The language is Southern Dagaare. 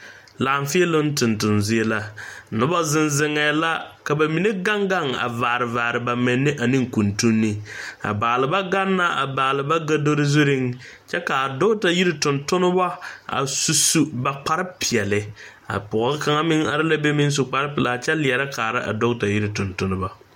Laafeeloŋ tontonzie la noba zeŋ zeŋɛ la ka ka ba mine gaŋ gaŋ a vaare vaare ba menne a ne kuntunni ka baalba gaŋ a balbagodori zuiŋ kyɛ ka dɔgta yiri tontonnema a su su ba kparpeɛle a pɔge kaŋa meŋ are la be a kyɛ su kparpeɛle kyɛ leɛrɛ kaara a dɔgtayiri tontonnema.